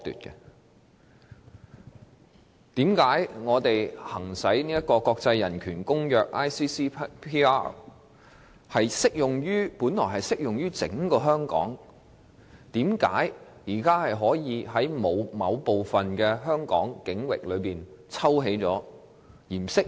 《公民權利和政治權利國際公約》本來適用於整個香港，為何現時可以在香港某部分境域中抽起，不再適用？